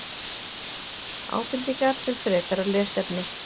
Ábendingar um frekara lesefni: